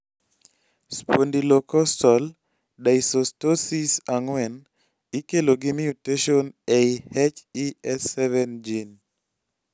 spondylocostal dysostosis 4 ikelo gi mutation ei HES7 gene